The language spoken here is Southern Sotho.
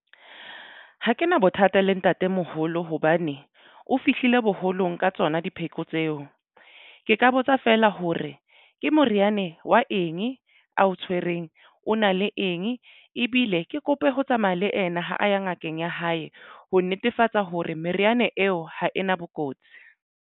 Ha ke na bothata le ntate moholo hobane o fihlile boholong ka tsona dipheko tseo. Ke ka botsa fela hore ke moriane wa eng ao tshwereng o na le eng ebile ke kope ho tsamaya le ena ha a ya ngakeng ya hae ho netefatsa hore meriana eo ha ena bokotsi.